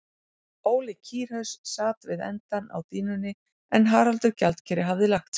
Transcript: Óli kýrhaus sat við endann á dýnunni en Haraldur gjaldkeri hafði lagt sig.